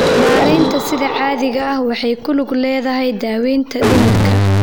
Maareynta sida caadiga ah waxay ku lug leedahay daaweynta dhimirka.